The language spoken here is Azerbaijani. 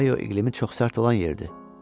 Ohaio iqlimi çox sərt olan yerdir.